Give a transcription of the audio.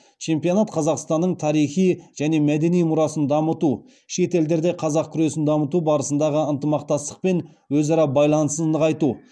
чемпионат қазақстанның тарихи және мәдени мұрасын дамыту шет елдерде қазақ күресін дамыту барысындағы ынтымақтастық пен өзара байланысын нығайту